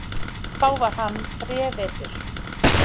Þá var hann þrevetur.